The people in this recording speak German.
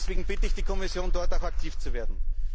Deswegen bitte ich die Kommission, dort auch aktiv zu werden.